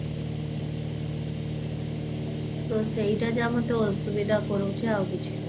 ଓଃହୋ ତ ସେଇଟା ଯାହା ମତେ ଅସୁବିଧା କରଉଛି ଆଉ କିଛି ନୁହଁ